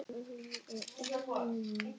Alltaf er jafn ánægjulegt að hitta þig.